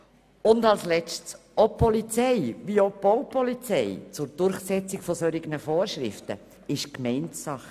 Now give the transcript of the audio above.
Und letztendlich ist die Polizei, wie auch die Baupolizei zur Durchsetzung solcher Vorschriften, Gemeindesache.